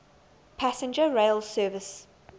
passenger rail service